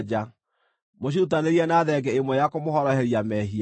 Mũcirutanĩrie na thenge ĩmwe ya kũmũhoroheria mehia.